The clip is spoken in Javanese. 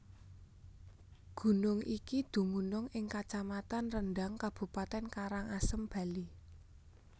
Gunung iki dumunung ing kacamatan Rendang Kabupaten Karangasem Bali